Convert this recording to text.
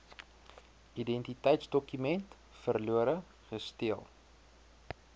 identiteitsdokument verlore gesteel